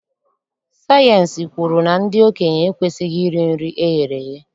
Sayịensị kwuru na ndị okenye ekwesighị iri nri eghere eghe.